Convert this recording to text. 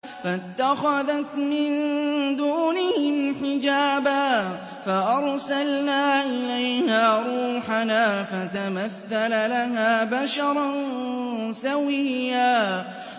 فَاتَّخَذَتْ مِن دُونِهِمْ حِجَابًا فَأَرْسَلْنَا إِلَيْهَا رُوحَنَا فَتَمَثَّلَ لَهَا بَشَرًا سَوِيًّا